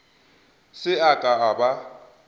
se a ka a ba